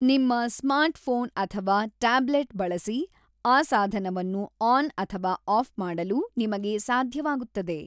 ನಿಮ್ಮ ಸ್ಮಾರ್ಟ್‌ಫೋನ್ ಅಥವಾ ಟ್ಯಾಬ್ಲೆಟ್ ಬಳಸಿ ಆ ಸಾಧನವನ್ನು ಆನ್ ಅಥವಾ ಆಫ್ ಮಾಡಲು ನಿಮಗೆ ಸಾಧ್ಯವಾಗುತ್ತದೆ